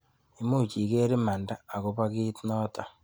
Imuch iker imanda akobo kiit nito?